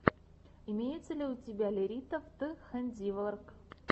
имеется ли у тебя лерита вт хэндиворк